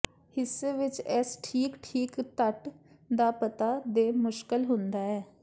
ਹਿੱਸੇ ਵਿਚ ਇਸ ਠੀਕ ਠੀਕ ਤਟ ਦਾ ਪਤਾ ਦੇ ਮੁਸ਼ਕਲ ਹੁੰਦਾ ਹੈ